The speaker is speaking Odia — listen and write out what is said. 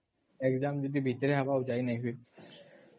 exam ଯଦି ଭିତରେ ହବ ଆଉ ଯାଇ ନାଇଁ ହୁଏ